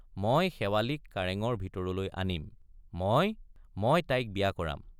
মই শেৱালিক কাৰেঙৰ ভিতৰলৈ আনিম—মই মই তাইক বিয়া কৰাম।